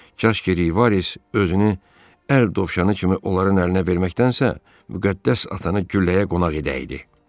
Kaş ki Rivares özünü əl dovşanı kimi onların əlinə verməkdənsə, müqəddəs atanı gülləyə qonaq edəydi.